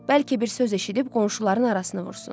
Bəlkə bir söz eşidib qonşuların arasını vursun.